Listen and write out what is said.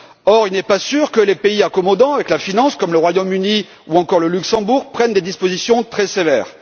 Or, il n'est pas sûr que les pays accommodants avec la finance, comme le Royaume Uni ou encore le Luxembourg, prennent des dispositions très sévères.